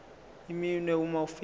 iminwe uma ufika